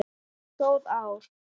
Góð ár.